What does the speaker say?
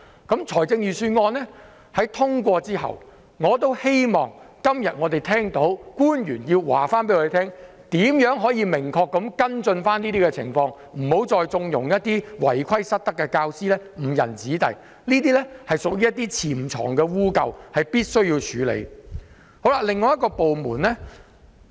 今天當預算案獲得通過後，我希望官員可以明確告訴我們會如何跟進相關情況，別再縱容一些違規失德的教師誤人子弟，這些潛藏的弊端必須處理。